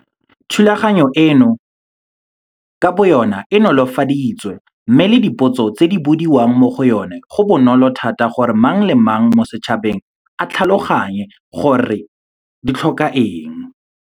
Thulaganyo eno ka boyona e nolofaditswe mme le dipotso tse di bodiwang mo go yona go bonolo thata gore mang le mang mo setšhabeng a tlhaloganye gore di tlhoka eng.